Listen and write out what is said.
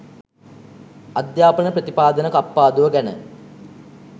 අධ්‍යාපන ප්‍රතිපාදන කප්පාදුව ගැන